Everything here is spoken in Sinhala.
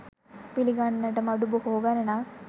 පිළිගන්නට මඩු බොහෝ ගණනක්